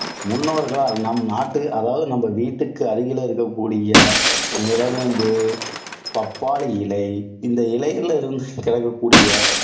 முன்னோர்களால் நம் நாட்டு அதாவது நம்ம வீட்டிற்கு அருகில் இருக்கக்கூடிய நிலவேம்பு, பப்பாளி இலை, இந்த இலைகளில் இருந்து கிடைக்கக்கூடிய,